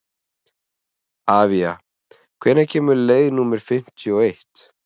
Avía, hvenær kemur leið númer fimmtíu og eitt?